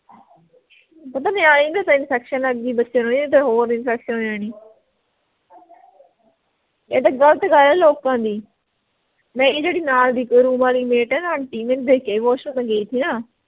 ਪਤਾ ਨਿਆਣੇ ਨੂੰ infection ਹੈਗੀ ਬੱਚਿਆਂ ਨੂੰ ਇਹ ਹੋਰ infection ਹੋ ਜਾਣੀ ਇਹ ਤਾਂ ਗ਼ਲਤ ਗੱਲ ਆ ਲੋਕਾਂ ਦੀ ਮੇਰੀ ਜਿਹੜੀ ਨਾਲ ਦੀ room ਆਲੀ mate ਐ ਨਾ aunty ਮੈਂਨੂੰ ਦੇਖ ਕੇ ਆਈ washroom ਗਈ ਥੀ ਨਾ